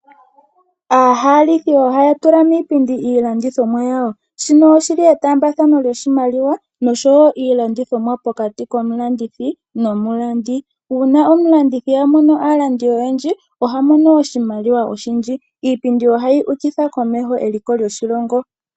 Aahalithi ohaya tula miipindi iilandithomwa yawo, shino oshili etambathano lyoshimaliwa osho wo iilandithomwa pokati komulandithi nomulandi. Uuna omulandithi amono aalandi oyendji oha mono oshimaliwa oshindji. Iipindi ohayi ukitha komeho eliko lyoshilongo.